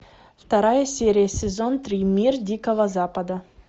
вторая серия сезон три мир дикого запада